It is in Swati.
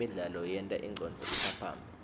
imidlalo yenta ingcondvo iphaphame